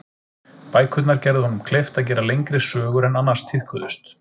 Bækurnar gerðu honum kleift að gera lengri sögur en annars tíðkuðust.